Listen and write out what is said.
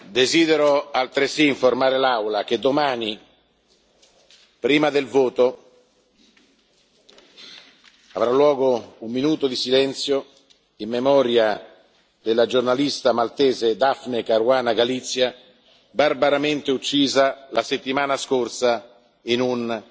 Desidero altresì informare l'Aula che domani, prima del voto, avrà luogo un minuto di silenzio in memoria della giornalista maltese Daphne Caruana Galizia, barbaramente uccisa la settimana scorsa in un